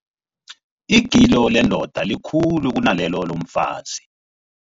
Igilo lendoda likhulu kunalelo lomfazi.